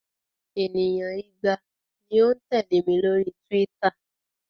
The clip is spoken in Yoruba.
Ènìyàn igba ni ó ń tẹ̀lẹ́ mi lórí Twitter.